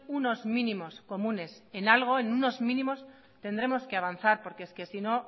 unos mínimos comunes en algo en unos mínimos tendremos que avanzar porque es que sino